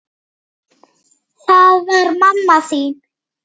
Það var mamma þín.